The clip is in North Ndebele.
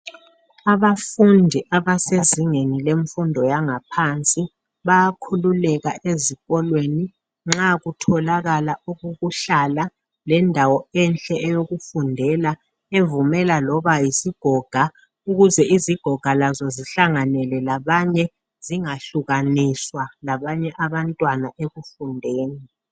Abafundi abasezingeni lemfundo yangaphansi bayakhululeka ezikolweni nxa kutholakala indawo okokuhlala lendawo enhle yokufundela, evumela loba yisigoga, ukuze izigoga Lazo zihlanganele labanye zingahlukaniswa ekufundeni.